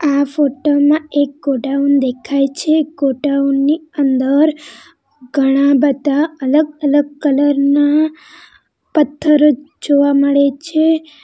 આ ફોટા માં એક ગોડાઉન દેખાય છે ગોડાઉન ની અંદર ઘણા બધા અલગ-અલગ કલર ના પથ્થર જોવા મળે છે.